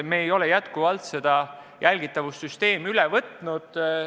Me ei ole seda jälgitavussüsteemi üle võtnud.